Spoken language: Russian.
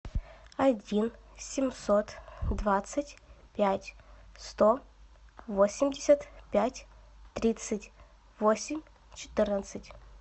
один семьсот двадцать пять сто восемьдесят пять тридцать восемь четырнадцать